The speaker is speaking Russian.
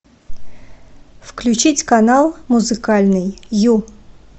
включить канал музыкальный ю